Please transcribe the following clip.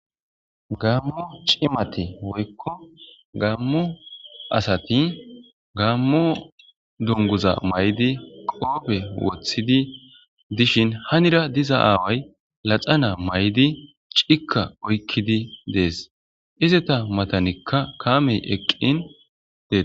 Gaammo cimati woykko gaammo asati gaammo donguza may'di qoobe wothidi dishin hanira diza aaway laxana may'di cikka oykkidi dees izeta matanikka kaamey eqqin des.